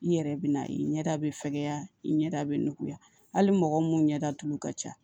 I yɛrɛ bɛ n'a ye i ɲɛda bɛ fɛkɛya i ɲɛda bɛ nuguya hali mɔgɔ mun ɲɛda tulu ka ca